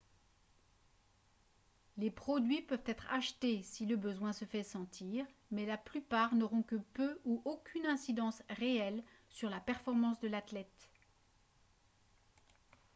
les produits peuvent être achetés si le besoin se fait sentir mais la plupart n'auront que peu ou aucune incidence réelle sur la performance de l'athlète